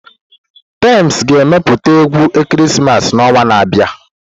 Tems ga-ewepụta egwu ekeresimesi n'ọnwa na-abịa.